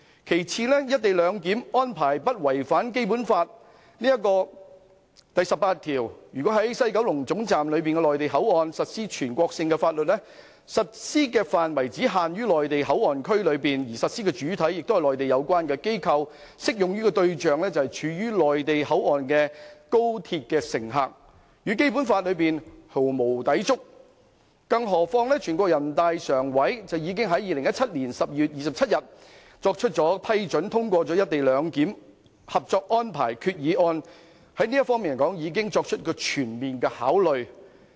其次，"一地兩檢"的安排並無違反《基本法》第十八條，因為在西九龍總站的內地口岸區實施的全國性法律，實施範圍只限於內地口岸區內，而實施主體是內地有關機構，適用對象則是處於內地口岸區的高鐵乘客，與《基本法》毫無抵觸，更何況人大常委會已在2017年12月27日批准通過"一地兩檢"《合作安排》決議案，在這方面已作出全面考慮。